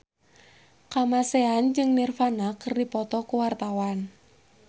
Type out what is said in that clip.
Kamasean jeung Nirvana keur dipoto ku wartawan